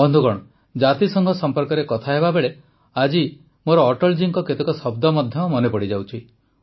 ବନ୍ଧୁଗଣ ଜାତିସଂଘ ସମ୍ପର୍କରେ କଥା ହେବାବେଳେ ଆଜି ମୋର ଅଟଳ ଜୀଙ୍କ କେତେକ ଶବ୍ଦ ମଧ୍ୟ ମନେ ପଡ଼ିଯାଉଛି